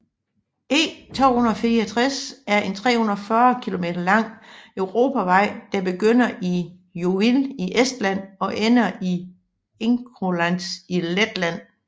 E264 er en 340 kilometer lang europavej der begynder i Jõhvi i Estland og ender i Inčukalns i Letland